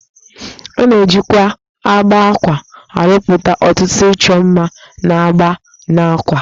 A na-ejikwa agba àkwá arụpụta ọtụtụ ịchọ mma na agba n'àkwá